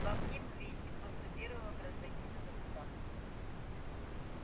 во мне вы видите просто первого гражданина государства